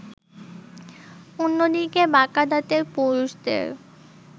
অন্যদিকে বাঁকা দাঁতের পুরুষদের